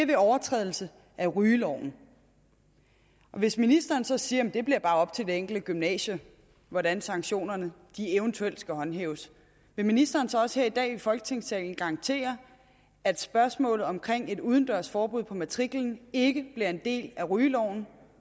ved overtrædelse af rygeloven og hvis ministeren så siger at det bare bliver op til hvert enkelt gymnasium hvordan sanktionerne eventuelt skal håndhæves vil ministeren så også her i dag i folketingssalen garantere at spørgsmålet om et udendørs forbud på matriklen ikke bliver en del af rygeloven